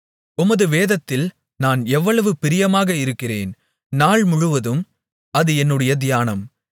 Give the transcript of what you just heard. உமது வேதத்தில் நான் எவ்வளவு பிரியமாக இருக்கிறேன் நாள் முழுவதும் அது என்னுடைய தியானம்